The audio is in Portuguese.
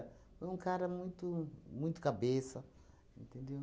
Foi um cara muito muito cabeça, entendeu?